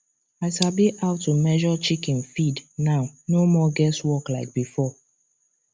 i sabi how to measure chicken feed now no more guess work like before